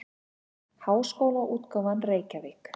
Háskólaútgáfan Reykjavík.